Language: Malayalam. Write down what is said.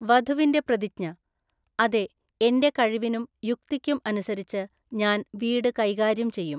വധുവിന്റെ പ്രതിജ്ഞ അതെ, എന്റെ കഴിവിനും യുക്തിക്കും അനുസരിച്ച് ഞാൻ വീട് കൈകാര്യം ചെയ്യും.